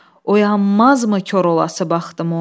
Oyanmazmı kor olası bəxtim oy.